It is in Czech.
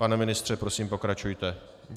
Pane ministře, prosím, pokračujte.